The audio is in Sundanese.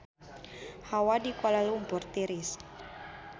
Hawa di Kuala Lumpur tiris